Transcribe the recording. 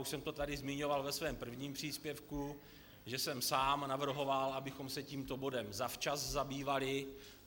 Už jsem to tady zmiňoval ve svém prvním příspěvku, že jsem sám navrhoval, abychom se tímto bodem zavčas zabývali.